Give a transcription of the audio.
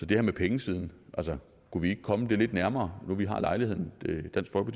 det her med pengesiden altså kunne vi ikke komme det lidt nærmere nu hvor vi har lejligheden det